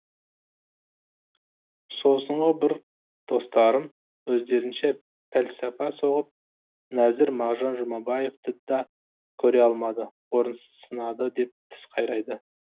сосынғы бір достарым өздерінше пәлсапа соғып нәзір мағжан жұмабаевты да көре алмады орынсыз сынады деп тіс қайрайды